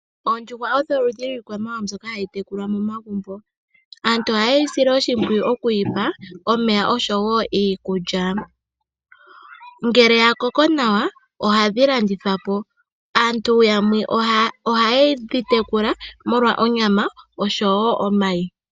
Oondjuhwa odho oludhi lwiikwamawawa mbyoka hayi tekulwa momagumbo. Aantu ohaye dhi sile oshimpwiyu, mokudhipa omeya, oshowo iikulya. Ngele dhakoko nawa ohadhi landithwapo. Aantu yamwe ohayedhi tekula molwa onyama, noshowo omayi.